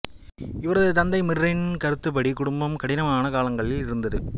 இவரது தந்தை மிர்ரின் கருத்துப்படி குடும்பம் கடினமான காலங்களில் இருந்தது